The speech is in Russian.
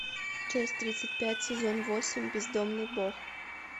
часть тридцать пять сезон восемь бездомный бог